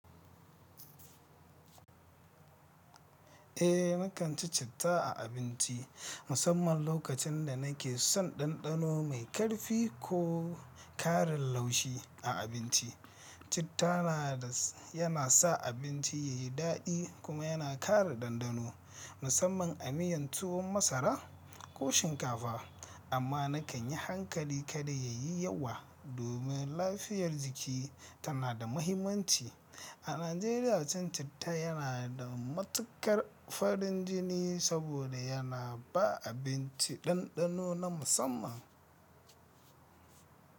Eh, na kan ci citta a abinci, musamman lokacin da nake son ɗanɗano mai ƙarfi ko ƙarin laushi a abinci. Citta yana sa abinci yayi daɗi kuma yana ƙara ɗanɗano, musamman a miyan tuwon masara ko shinkafa. Amma nakan yi hankali kada yayi yawa domin lafiyar jiki tana da mahimmanci. A Najeriya, cin citta yana da matukar farin jini saboda yana ba abinci ɗanɗano na musamman.